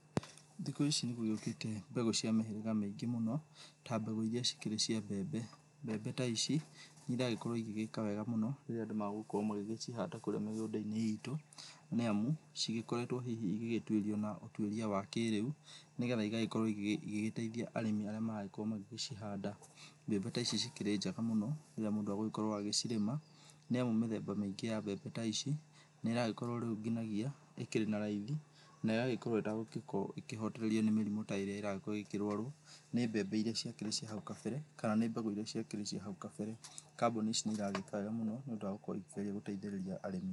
Thikũ ici nĩ gũgĩũkĩte mbegũ cia mĩhĩrĩga mĩingĩ mũno, ta mbegũ iria cikĩrĩ cia mbembe, mbembe taici nĩ iragĩkorwo igĩgĩka wega mũno, rĩrĩa andũ megũkorwo magĩcihanda kũrĩa mĩgũnda-inĩ itũ, nĩamu cigĩkoretwo hihi igĩgĩtuĩrio na ũtuĩria wa kĩrĩu, nĩgetha igagĩkorwo igĩ igĩgĩteithia arĩmi arĩa maragĩkorwo magĩgĩcihanda, mbembe taici ikĩrĩ njega mũno rĩrĩa mũndũ egũgĩkorwo agĩcirĩma, nĩamu mĩthemba mĩingĩ ya mbembe taici, nĩ ĩragĩkorwo rĩu nginagia, ĩkĩrĩ na raithi, na ĩgagĩkorwo ĩtegũgĩkorwo ĩkĩhotererio nĩ mĩrimũ taĩria ĩragĩgĩkorwo ĩkĩrwarwo nĩ mbembe iria ciakĩrĩ cia hau kabere, kana nĩ mbegũ iria cĩakĩrĩ cia hau kabere, kambuni ici nĩ iragĩka wega mũno, nĩ ũndũ wa gũkorwo ikĩgeria gũteithĩrĩria arĩmi.